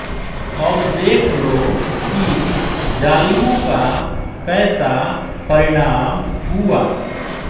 अब देख लो कि ज़ालिमों का कैसा परिणाम हुआ